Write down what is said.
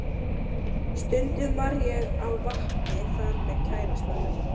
Stundum var ég á vappi þar með kærastanum.